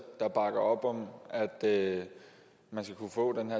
der bakker op om at man skal kunne få den